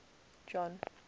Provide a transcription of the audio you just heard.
john